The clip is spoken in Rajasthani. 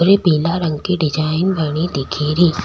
और ये पीला रंग की डिजाइन बनी दिख री।